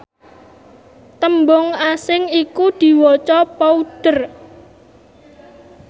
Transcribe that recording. tembung asing iku diwaca powder